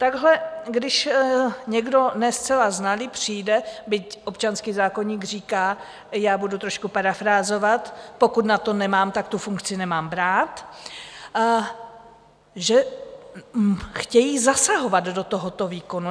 Takhle když někdo ne zcela znalý přijde - byť občanský zákoník říká, já budu trošku parafrázovat, pokud na to nemám, tak tu funkci nemám brát - že chtějí zasahovat do tohoto výkonu.